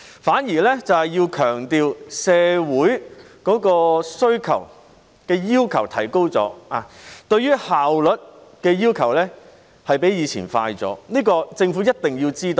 反而，我們想強調社會的要求已提高，要求比以前更快的效率，這是政府一定要知道的。